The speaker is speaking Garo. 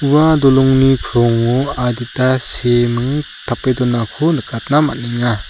ua dolongni krongo adita seeming tape donako nikatna man·enga.